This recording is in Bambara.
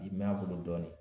Bi mɛn a bolo dɔɔnin